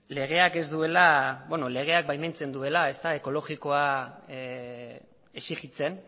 legeak ez duela beno legeak baimentzen duela ekologikoa exigitzen